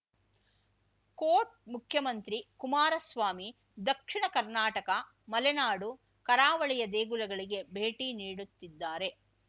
coat ಮುಖ್ಯಮಂತ್ರಿ ಕುಮಾರಸ್ವಾಮಿ ದಕ್ಷಿಣ ಕರ್ನಾಟಕ ಮಲೆನಾಡು ಕರಾವಳಿಯ ದೇಗುಲಗಳಿಗೆ ಭೇಟಿ ನೀಡುತ್ತಿದ್ದಾರೆ